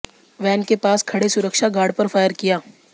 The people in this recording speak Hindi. वैन के पास खड़े सुरक्षा गार्ड पर फायर किया